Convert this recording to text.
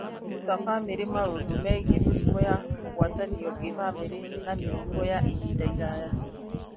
Kũruta bamĩrĩ maũndũ megiĩ mĩrimũ ya kũgwatanio kĩbamĩrĩ na mĩrimũ ya ihinda iraya